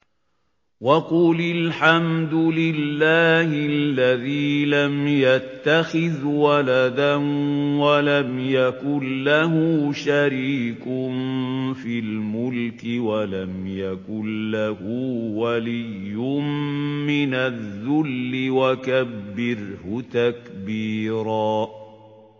وَقُلِ الْحَمْدُ لِلَّهِ الَّذِي لَمْ يَتَّخِذْ وَلَدًا وَلَمْ يَكُن لَّهُ شَرِيكٌ فِي الْمُلْكِ وَلَمْ يَكُن لَّهُ وَلِيٌّ مِّنَ الذُّلِّ ۖ وَكَبِّرْهُ تَكْبِيرًا